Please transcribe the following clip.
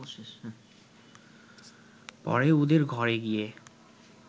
পরে ওদের ঘরে গিয়ে